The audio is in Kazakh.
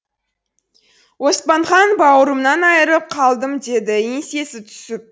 оспанхан бауырымнан айрылып қалдым деді еңсесі түсіп